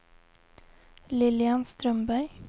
Lilian Strömberg